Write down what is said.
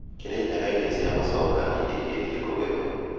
Kirinyaga irio cia mũcooka nĩirĩkĩtie kũgethwo